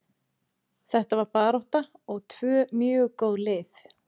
Þetta var barátta og tvö mjög góð lið.